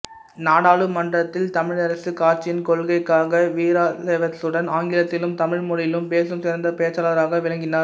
நாடாளுமன்றத்தில் தமிழரசுக் கட்சியின் கொள்கைக்காக வீராவேசத்துடன் ஆங்கிலத்திலும் தமிழ் மொழியிலும் பேசும் சிறந்த பேச்சாளராக விளங்கினார்